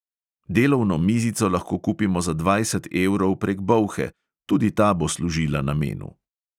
Delovno mizico lahko kupimo za dvajset evrov prek bolhe, tudi ta bo služila namenu.